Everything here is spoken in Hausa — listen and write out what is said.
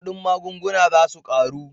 Kudin magunguna za su karu